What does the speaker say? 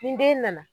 Ni den nana